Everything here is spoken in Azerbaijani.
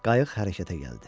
Qayıq hərəkətə gəldi.